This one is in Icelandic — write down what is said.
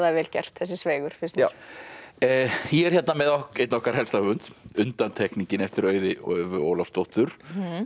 er vel gert þessi finnst mér ég er hérna með einn okkar helsta höfund undantekningin eftir Auði Ólafsdóttur